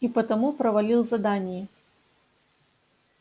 и потому провалил задании